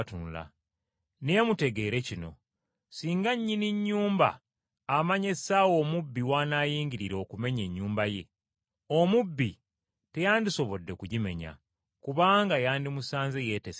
“Naye mutegeere kino: singa ssemaka amanya essaawa omubbi w’anaayingirira okumenya ennyumba ye, teyandiganyizza mubbi kumuyingirira.